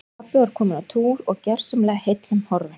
Pabbi var kominn á túr og gersamlega heillum horfinn.